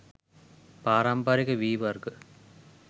පාරමිපරික වී වර්ග